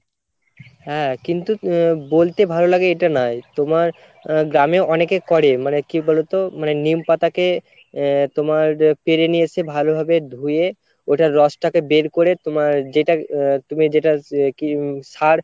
হ্যাঁ কিন্তু আহ বলতে ভালো লাগে এটা নয় তোমার আহ গ্রামে অনেকে করে মানে কি বলোতো মানে নিম পাতাকে আহ তোমার পেরে নিয়ে এসে ভালোভাবে ধুয়ে ওটার রসটাকে বের করে তোমার যেটার আহ তুমি যেটার হম সার